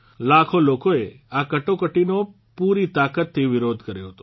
લાખો લોકોએ આ કટોકટીનો પૂરી તાકાતથી વિરોધ કર્યો હતો